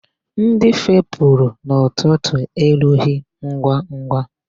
Ndị fepụrụ n'ụtụtụ erughị ngwangwa.